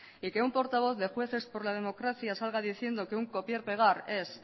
y que un portavoz que jueces por la democracia salga diciendo que un copiar pegar es